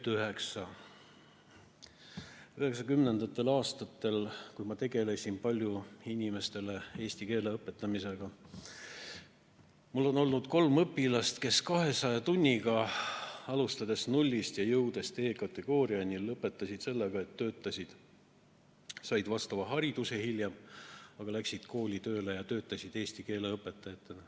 1990. aastatel, kui ma tegelesin palju eesti keele õpetamisega, oli mul kolm õpilast, kes 200 tunniga jõudsid nullist D-kategooriani ning lõpetasid sellega, et hiljem läksid kooli tööle eesti keele õpetajaks.